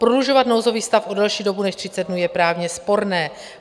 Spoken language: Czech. Prodlužovat nouzový stav o delší dobu než 30 dnů je právně sporné.